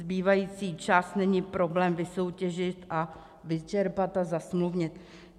Zbývající část není problém vysoutěžit a vyčerpat a zasmluvnit.